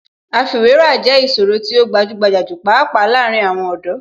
Àfiwéra jẹ́ ìṣòro tí ó gbajúgbajà jù pàápàá láàárín àwọn ọ̀dọ́.